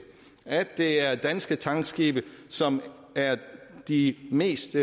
at det er danske tankskibe som er de mest